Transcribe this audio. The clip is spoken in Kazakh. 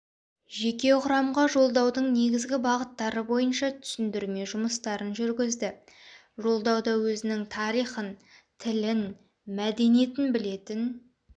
жеке құрамға жолдаудың негізгі бағыттары бойынша түсіндірме жұмыстарын жүргізді жолдауда өзінің тарихын тілін мәдениетін білетін